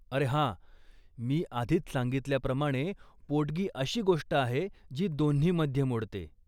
अरे हा, मी आधीच सांगितल्याप्रमाणे पोटगी अशी गोष्ट आहे जी दोन्हीमध्ये मोडते.